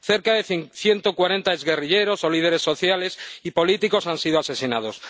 Cerca de ciento cuarenta exguerrilleros o líderes sociales y políticos han sido asesinados.